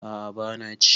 a a bana ci